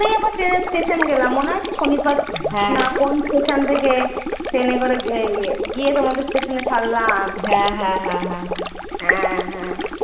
Station গেলাম মনে আছে শনিপথ না কোন station থেকে ট্রেনে করে গি~ গিয়ে তোমাদের station এ ছাড়লাম? হ্যাঁ হ্যাঁ